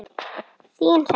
Þín, Hrefna.